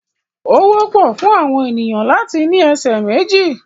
Ó wọ́pọ̀ fún àwọn ènìyàn láti ní ẹsẹ̀ méjì.